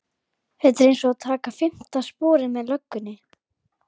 Þetta er einsog að taka fimmta sporið með löggunni